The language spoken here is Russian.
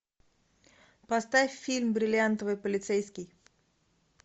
поставь фильм бриллиантовый полицейский